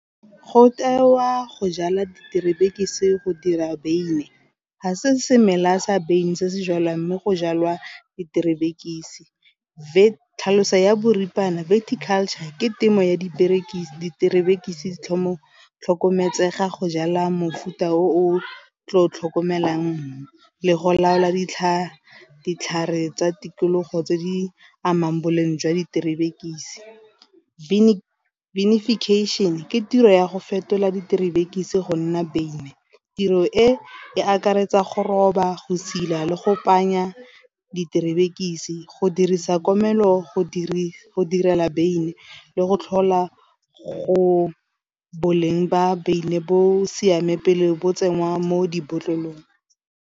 Go tewa go jala diterebe go dira beine ga se semela sa beine se se jalwa, mme go jalwa diterebe tlhalosa ya boripana verticulture ke temo ya diterebe tlhokometseng ga go jala mofuta o tlo tlhokomelang mum le go laola ditlhare. Ditlhare tsa tikologo tse di amang boleng jwa diterebe . ke tiro ya go fetola diterebe go nna beine, tiro e e akaretsa go roba, go sedila le go kopanya diterebe go dirisa komelo go direla beine le go tlhola go boleng ba beine bo siame pele bo tsenngwa mo dibotlolong.